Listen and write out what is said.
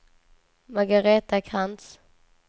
Margaretha Krantz